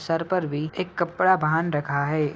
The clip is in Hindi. सर पर भी एक कपड़ा बान रखा है।